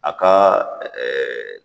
A kaa